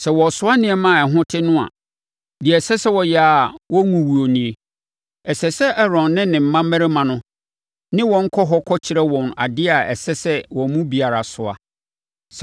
Sɛ wɔresoa nneɛma a ɛho te no a, deɛ ɛsɛ sɛ wɔyɛ a wɔrenwuwu nie: Ɛsɛ sɛ Aaron ne ne mma mmarima no ne wɔn kɔ hɔ kɔkyerɛ wɔn adeɛ a ɛsɛ sɛ wɔn mu biara soa.